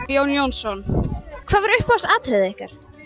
Jón Jónsson hvað var uppáhalds atriðið ykkar